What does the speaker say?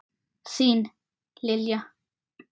Þín, Lilja.